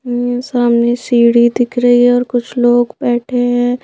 मेरे सामने सीढ़ी दिख रही है और कुछ लोग बैठे है।